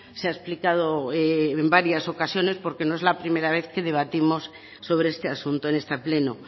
se ha explicado en varias ocasiones porque no es la primera vez que debatimos sobre este asunto en este pleno